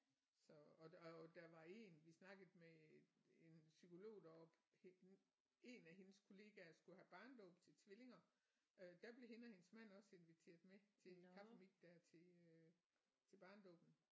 Så og og der var én vi snakkede med en en psykolog deroppe hende en af hendes kollegaer skulle have barnedåb til tvillinger øh der blev hende og hendes mand også inviteret med til kaffemik der til øh til barnedåben